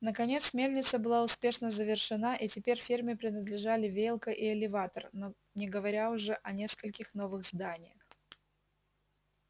наконец мельница была успешно завершена и теперь ферме принадлежали веялка и элеватор не говоря уже о нескольких новых зданиях